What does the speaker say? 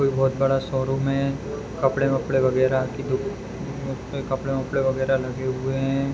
कोई बहुत बड़ा शोरूम है कपड़े-वपड़े वगेरह की दू कपड़े-वपड़े वगेरह लगे हुए हैं।